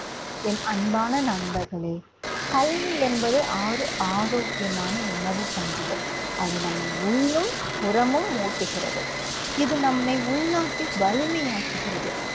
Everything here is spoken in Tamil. என் அன்பான நண்பர்களே கல்வி என்பது ஆர்~ ஆரோக்கியமான உணவு போன்றது. அது நம்மை . இது நம்மை உள்நாட்டில் வலிமையாக்குகிறது.